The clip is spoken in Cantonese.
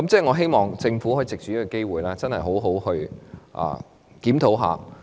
我希望藉着這個機會，促請政府好好檢討。